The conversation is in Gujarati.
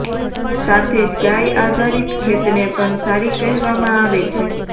સાથે જ ગાય આઘારિત ખેતને પણ સારી કહવામાં આવે છે